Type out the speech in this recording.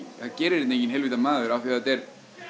gerir þetta enginn heilvita maður af því að þetta er